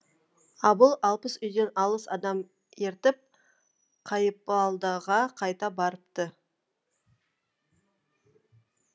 абыл алпыс үйден алпыс адам ертіп қайыпалдыға қайта барыпты